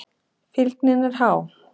Fylgnin er há.